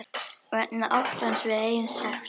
Vegna óttans við eigin sekt.